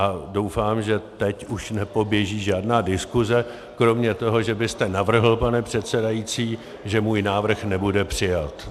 A doufám, že teď už nepoběží žádná diskuze kromě toho, že byste navrhl, pane předsedající, že můj návrh nebude přijat.